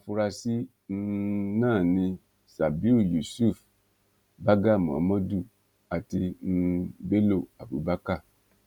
àwọn afurasí um náà ni sabiu yusuf barga mohammadu àti um bello abubakar